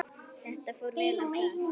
Þetta fór vel af stað.